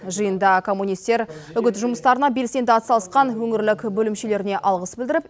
жиында коммунистер үгіт жұмыстарына белсенді атсалысқан өңірлік бөлімшелеріне алғыс білдіріп